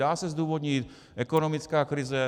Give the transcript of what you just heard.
Dá se zdůvodnit ekonomická krize.